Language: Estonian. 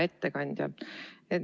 Hea ettekandja!